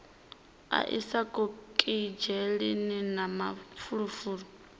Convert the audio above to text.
a isa okisidzheni na mafulufulu